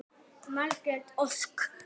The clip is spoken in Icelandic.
Margrét Ósk.